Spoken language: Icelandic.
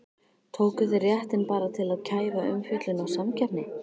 Tóku þeir réttinn bara til að kæfa umfjöllun og samkeppni?